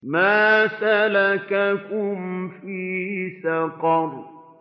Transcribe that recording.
مَا سَلَكَكُمْ فِي سَقَرَ